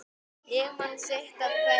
Ég man sitt af hverju